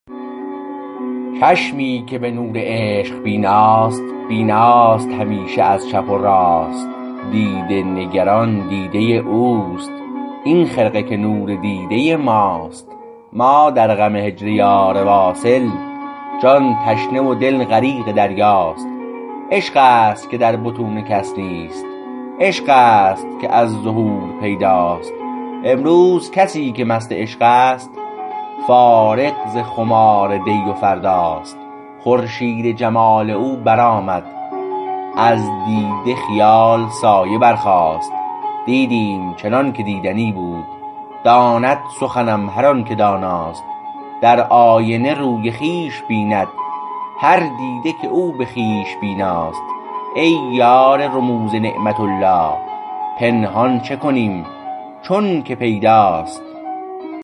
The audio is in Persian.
چشمی که به نور عشق بیناست بیناست همیشه از چپ و راست دیده نگران دیده اوست این خرقه که نور دیده ماست ما در غم هجر یار واصل جان تشنه و دل غریق دریاست عشقست که در بطون کس نیست عشقست که از ظهور پیداست امروز کسی که مست عشقست فارغ ز خمار دی و فرداست خورشید جمال او برآمد از دیده خیال سایه برخاست دیدیم چنانکه دیدنی بود داند سخنم هر آنکه داناست در آینه روی خویش بیند هر دیده که او به خویش بیناست ای یار رموز نعمت الله پنهان چه کنیم چون که پیداست